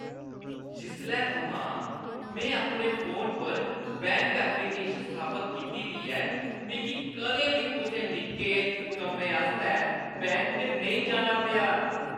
जिसलै थमां में अपने फोन पर बैंक ऐपलीकेशन स्थापत कीती दी ऐ, मिगी कदें बी कुसै निक्के कम्मै आस्तै बैंक नेईं जाना पेआ।